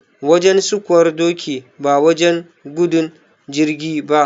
Wajen sukuwar doki ba wajen gudun jirgi ba.